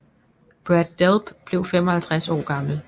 Brad Delp blev 55 år gammel